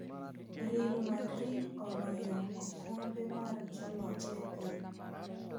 Real Madrid oloyo okombe mar joloch e piny.